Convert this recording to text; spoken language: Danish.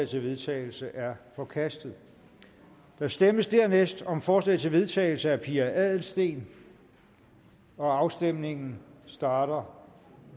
til vedtagelse er forkastet der stemmes dernæst om forslag til vedtagelse af pia adelsteen og afstemningen starter